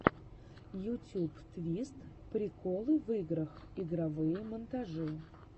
ютьюб твист приколы в играх игровые монтажи